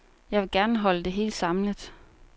Jeg vil gerne holde det samlet.